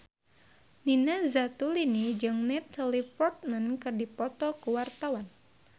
Nina Zatulini jeung Natalie Portman keur dipoto ku wartawan